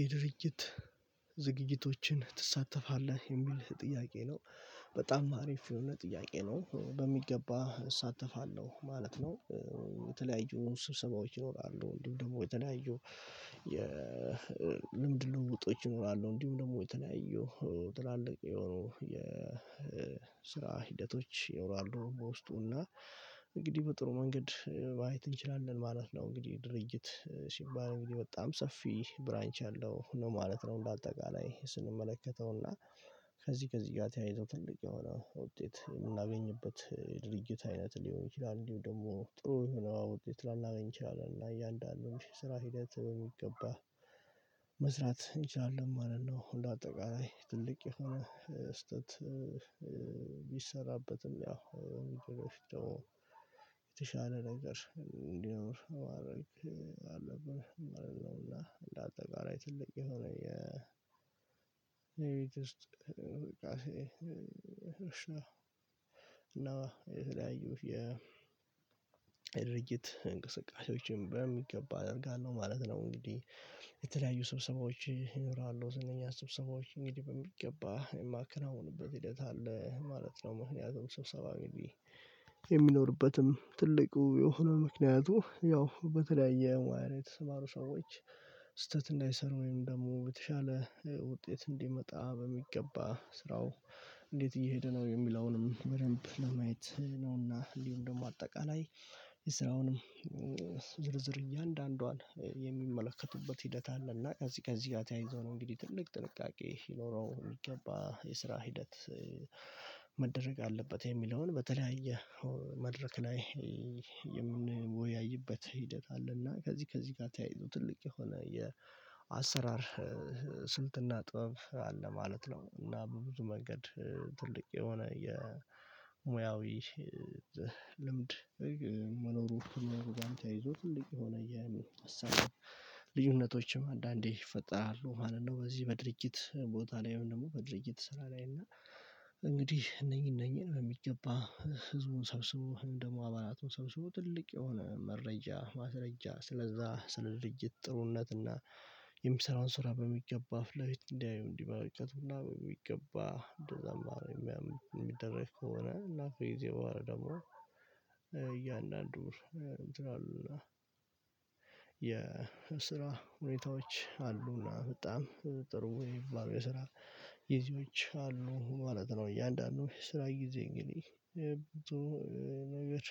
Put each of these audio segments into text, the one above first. የድርጅት ዝግጅቶችን ትሳተፋለህ? የሚል ጥያቄ ነው በጣም አሪፍ የሆነ ጥያቄ ነው በሚገባ እሳተፋለሁ ማለት ነው። የተለያዩ ስብሰባዎች ይኖራሉ እንዲሁም ደግሞ የተለያዩ የልምድ ልውውጦች ይኖራሉ። እንዲሁም ደግሞ የተለያዩ ትላልቅ የሆኑ የስራ ሂደቶች ይኖራሉ ውስጥ እና እንግዲህ በጥሩ መንገድ ማየት እንችላለን ማለት ነው። እንግዲህ ድርጅት ሲባል እንግዲህ በጣም ሰፊ ብራንች አለው ነው ማለት ነው። እንዳጠቃላይ ስንመለከተው እና ከዚህ ከዚህ ጋር ተያይዞ ትልቅ የሆነ ውጤት የምናገኝበት ድርጊት አይነት ሊሆን ይችላል። እንዲሁ ደግሞ ጥሩ የሆነ ውጤት ለናገኝ እችላለን እና እያንዳንዱን ስራ ሂደት በሚገባ መስራት እንችላለን ማለት ነው። እንደ አጠቃላይ ትልቅ የሆነ ስህተት ቢሰራበትም ያው የተሻለ ነገር እንዲኖር ማድረግ አለብን ማለት ነውና። እንደ አጠቃላይ ትልቅ የሆነ የቤት ውስጥ እንቅስቃሴ እና የተለያዩ የድርጅት እንቅስቃሴዎችን በሚገባ አደርጋለሁ ማለት ነው። እንግዲህ የተለያዩ ስብሰባዎች ይኖራሉ ዝነኛ ስብሰባዎች እንግዲህ በሚገባ የማከናውንበት ሂደት አለ ማለት ነው። ምክንያቱም ስብሰባ እንግዲህ የሚኖርበትም ትልቁ የሆኑ ምክንያቱ ያው በተለያየ ማዕረግ የተሰማሩ ሰዎች ስህተት እንዳይሰሩ ወይም ደግሞ የተሻለ ውጤት እንዲመጣ በሚገባ ስራው እንዴት እየሄደ ነው የሚለውንም በደንብ ለማየት ነውና። እንዲሁም ደግሞ አጠቃላይ የስራውንም ዝርዝር እያንዳንዷን የሚመለከቱበት ሂደት አለ እና ከዚህ ከዚህ ጋር ተያይዞ ነው። እንግዲህ ትልቅ ጥንቃቄ ሊኖረው የሚገባ የስራ ሂደት መደረግ አለበት የሚለውን በተለያየ መድረክ ላይ የምንወያይበት ሂደት አለና ከዚህ ከዚህ ጋር ተያይዞ ትልቅ የሆነ የአሰራር ስልትና ጥበብ አለ ማለት ነው። እና በብዙ መንገድ ትልቅ የሆነ የሙያዊ ልምድ መኖሩጋም ተያይዞ ትልቅ የሆነ የለውጥ ሀሳቦች ልዩነቶችም አንዳንዴ ይፈጥራሉ ማለት ነው። በዚህ በድርጅት ቦታ ላይም ደግሞ በድርጅት ስራ ላይ እና እንግዲህ እነኚህ እነኚህን በሚገባ ህዝቡን ሰብስቦ ደግሞ አባላቱን ሰብስቦ ትልቅ የሆነ መረጃ ማስረጃ ስለዛ ስለ ድርጅት ጥሩነት እና የሚሰራውን ስራ በሚገባ ፊት ለፊት እንዲያዩ እንዲመለከቱና በሚገባ እንደዛ ምናምን የሚደረግ ከሆነ እና ከጊዜ በኋላ ደሞ እያንዳንዱ እንትን አሉ የ የስራ ሁኔታዎች አሉና በጣም ጥሩ የሚባሉ የስራ ግዜዎች አሉ ማለት ነው። እያንዳንዱ የስራ ጊዜ እንግዲህ ጥሩ ነገር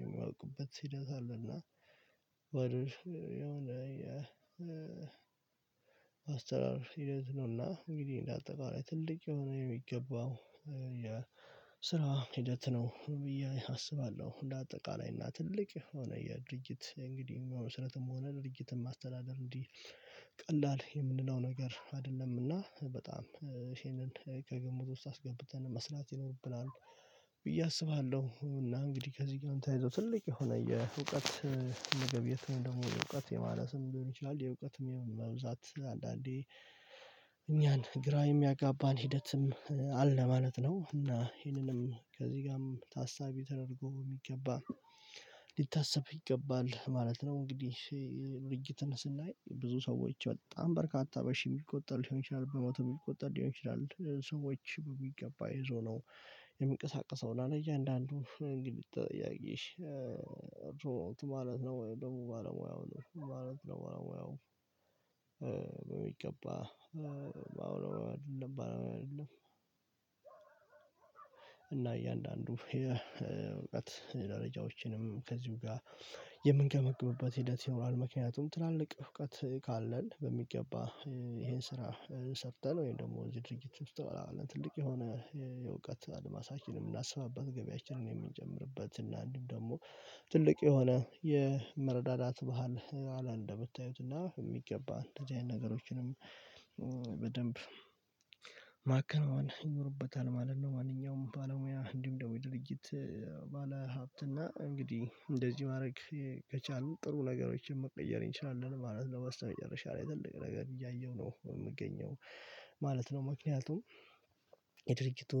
የሚያውቁበት ሂደት አለና ወደ የሆነ የ የአሰራር ሂደት ነውና እንግዲህ እንደ አጠቃላይ ትልቅ የሆነ የሚገባው የስራ ሂደት ነው ብዬ አስባለሁ። እንደ አጠቃላይ እና ትልቅ የሆነ የድርጅት እንግዲህ መስራትም ሆነ ድርጅትን ማስተዳደር እንዲህ ቀላል የምንለው ነገር አይደለም። እና በጣም ይሄንን ከግምት ውስጥ አስገብተን መስራት ይኖርብናል ብዬ አስባለሁ። እና እንግዲህ ከዚህ ጋር ተያይዞ ትልቅ የሆነ የእውቀት መገብየት ነው ደግሞ የእውቀት የማነስም ሊሆን ይችላል የእውቀትም የመብዛት አንዳንዴ እኛን ግራ የሚያጋባን ሂደትም አለ ማለት ነው። እና ይህንንም ከዚህ ጋርም ታሳቢ ተደርጎ የሚገባ ሊታሰብ ይገባል ማለት ነው። እንግዲህ የድርጅትን ስናይ ብዙ ሰዎች በጣም በርካታ በሺህ የሚቆጠር ሊሆን ይችላል በመቶም የሚቆጠር ሊሆን ይችላል ሰዎች በሚገባ ይዞ ነው። የሚንቀሳቀሰው እያንዳንዱን የግድ ተጠያቂ ማለት ነው። ወይ ደግሞ ባለሙያው ነው ማለት ነው። ባለሙያው በሚገባ ባለሙያ አይደለም። እያንዳንዱ የእውቀት ደረጃዎችንም ከዚሁ ጋር የምንገመግምበት ሂደት ይኖራል። ምክንያቱም ትላልቅ እውቀት ካለን በሚገባ ይሄን ስራ ሰርተን ወይም ደግሞ እዚህ ድርጅት ውስጥ ትልቅ የሆነ የእውቀት አድማሳችንን የምናሰፋበት ገበያችንን የምንጨምርበት እና አንዲሁም ደግሞ ትልቅ የሆነ የመረዳዳት ባህል አለ። እንደምታዩት እና በሚገባ እንደዚህ አይነት ነገሮችንም በደንብ ማከናወን ይኖርበታል ማለት ነው። ማንኛውም ባለሙያ እንዲሁም ደግሞ የድርጅት ባለሀብት እና እንግዲህ እንደዚህ ማድረግ ከቻልን ጥሩ ነገሮችን መቀየር እንችላለን ማለት ነው። በስተመጨረሻ ላይ ትልቅ ነገር እያየሁ ነው የምገኘው ማለት ነው። ምክንያቱም የድርጅቱ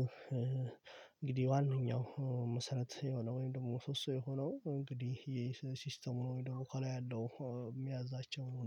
እንግዲህ ዋነኛው መሰረት የሆነው ወይም ደግሞ ምሶሶ የሆነው እንግዲህ ይሄ ሲስተሙ ነው ወይም ደግሞ ከላይ ያለው የሚያዛቸው ነው